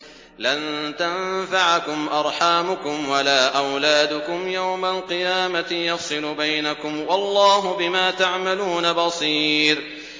لَن تَنفَعَكُمْ أَرْحَامُكُمْ وَلَا أَوْلَادُكُمْ ۚ يَوْمَ الْقِيَامَةِ يَفْصِلُ بَيْنَكُمْ ۚ وَاللَّهُ بِمَا تَعْمَلُونَ بَصِيرٌ